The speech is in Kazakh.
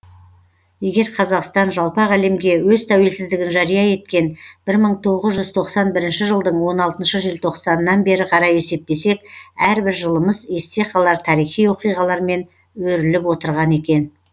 егер қазақстан жалпақ әлемге өз тәуелсіздігін жария еткен мың тоғыз жүз тоқсан бірінші жылдың он алтыншы желтоқсанынан бері қарай есептесек әрбір жылымыз есте қалар тарихи оқиғалармен өріліп отырған екен